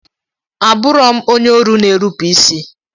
A burọm onye ọru na enupu isi.